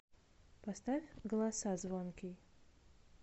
поставь голоса звонкий